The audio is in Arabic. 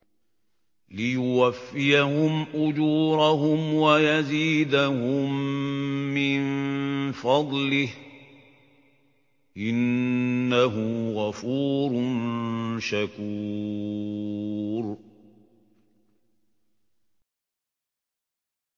لِيُوَفِّيَهُمْ أُجُورَهُمْ وَيَزِيدَهُم مِّن فَضْلِهِ ۚ إِنَّهُ غَفُورٌ شَكُورٌ